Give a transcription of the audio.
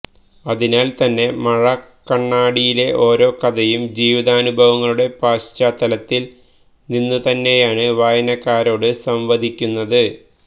അതിനാല് തന്നെ മഴക്കണ്ണാടിയിലെ ഓരോ കഥയും ജീവിതാനുഭവങ്ങളുടെ പശ്ചാത്തലത്തില് നിന്നുതന്നെയാണ് വായനക്കാരോട് സംവദിക്കുന്നത്